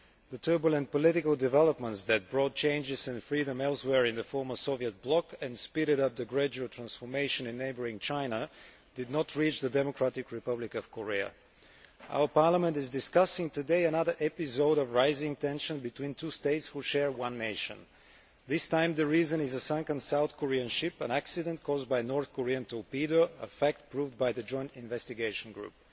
The turbulent political developments that brought changes and freedom elsewhere in the former Soviet bloc and speeded up the gradual transformation in neighbouring China did not reach the Democratic Republic of Korea. Our Parliament is discussing today another episode of rising tension between two states who share one nation. This time, the reason is a sunken South Korean ship, an accident caused by the North Korean torpedo, a fact proved by the Joint Investigation Group.